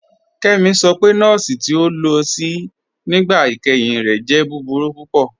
Kemí sọ pé nọ̀ọ̀sì ti o lo sí nígbà ìkẹ́hìn rẹ̀ jẹ̀ búburú púpọ̀.